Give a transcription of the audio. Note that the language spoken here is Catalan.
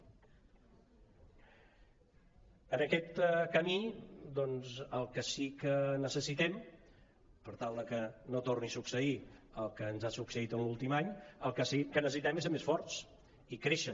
en aquest camí doncs per tal de que no torni a succeir el que ens ha succeït l’últim any el que sí que necessitem és ser més forts i créixer